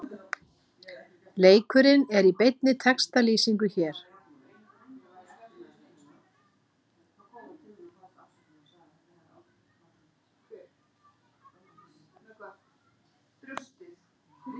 Leikurinn er í beinni textalýsingu hér